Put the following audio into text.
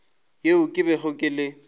yeo ke bego ke le